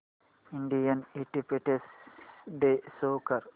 Indian independence day कर